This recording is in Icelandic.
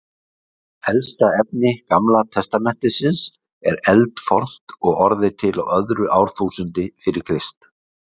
Elsta efni Gamla testamentisins er eldfornt og orðið til á öðru árþúsundi fyrir Krist.